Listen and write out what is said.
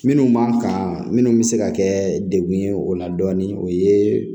Minnu b'an kan minnu bɛ se ka kɛ dekun ye o la dɔɔnin o ye